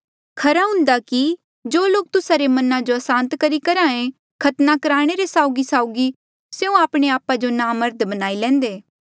खरा हुन्दा कि जो लोक तुस्सा रे मना जो असांत करी करहे खतना कुराणे रे साउगीसाउगी स्यों आपणे आपा जो नामर्द बनाई लैंदे